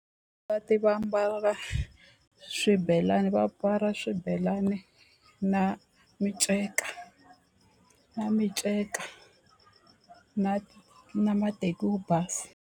Va ti va ambala swibelani va mbala swibelani na minceka na minceka na na mateki wo basa.